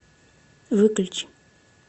выключи